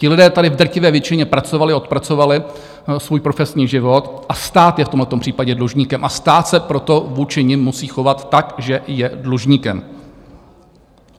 Ti lidé tady v drtivé většině pracovali, odpracovali svůj profesní život a stát je v tomhle případě dlužníkem, a stát se proto vůči nim musí chovat tak, že je dlužníkem.